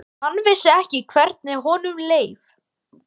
Hann vissi ekki hvernig honum leið.